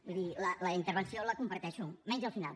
vull dir la intervenció la comparteixo menys el final